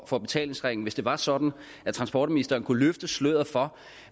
for betalingsringen hvis det var sådan at transportministeren kunne løfte sløret for